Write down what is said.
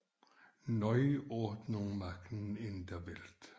Neu Ordnung machen in der Welt